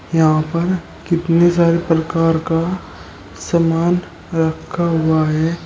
यहां पर कितने सारे प्रकार का सामान रखा हुआ है।